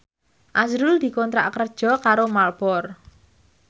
azrul dikontrak kerja karo Marlboro